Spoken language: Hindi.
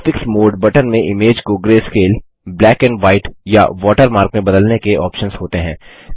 ग्राफिक्स मोडे बटन में इमेज को ग्रैस्केल ब्लैक एंड व्हाइट या वॉटरमार्क में बदलने के ऑप्शन्स होते हैं